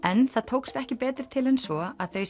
en það tókst ekki betur til en svo að þau